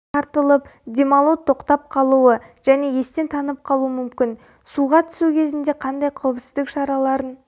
тартылып демалу тоқтап қалуы және естен танып қалу мүмкін суға түсу кезінде қандай қауіпсіздік шараларын